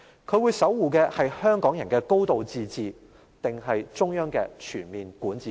她會守護的是香港人的"高度自治"，還是中央的全面管治權？